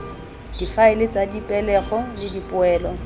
difaele tsa dipegelo le dipoelo